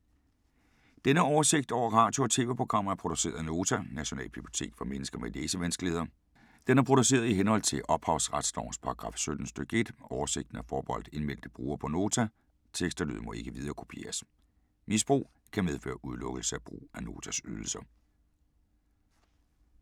Denne oversigt over radio og TV-programmer er produceret af Nota, Nationalbibliotek for mennesker med læsevanskeligheder. Den er produceret i henhold til ophavsretslovens paragraf 17 stk. 1. Oversigten er forbeholdt indmeldte brugere på Nota. Tekst og lyd må ikke viderekopieres. Misbrug kan medføre udelukkelse fra at bruge Notas ydelser.